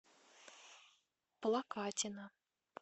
плакатина